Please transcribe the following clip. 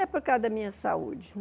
É por causa da minha saúde.